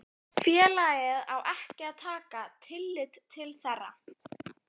félagið á ekki að taka tillit til þeirra.